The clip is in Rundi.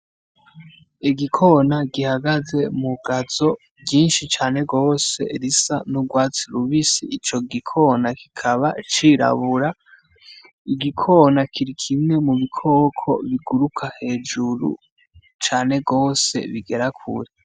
Igikona gihagaze mu gazo ryinshi cane gose risa n'urwatsi rubisi ico gikona kikaba cirabura, igikona kiri kimwe mu bikoko biguruka hejuru cane gose bigera kure.